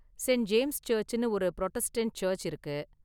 Saint James சர்ச்சுன்னு ஒரு Protestant church இருக்கு.